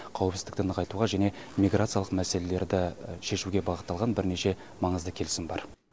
қауіпсіздікті нығайтуға және миграциялық мәселелерді шешуге бағытталған бірнеше маңызды келісім бар